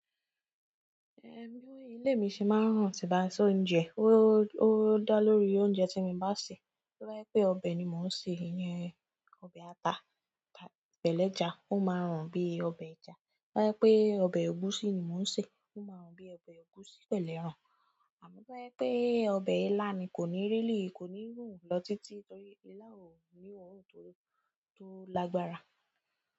Ehn, bí ilè mi ṣe máa ń rùn tí ba se óúnjẹ, ó dá lórí oúnjẹ tí mo bá sè. To bá je pé ọbẹ̀ ni mò ń sè, ìyẹn ọbẹ̀ ata pẹ̀lú ẹja, ó máa rùn bí ọbẹ̀ ẹja. To ba je pe ọbẹ̀ egusi ni mo n se, o maa run bi ọbẹ̀ egusi pélu ẹran àmọ́ bá bá je pé ọbẹ̀ ilá ni, kò ní rí lìí, kò ní rùn lọ títí torí ilá ò ní oorun tó lágbára.